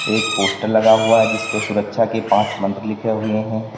एक पोस्टर लगा हुआ है जिसपे सुरक्षा के पांच मंत्र लिखे हुए है।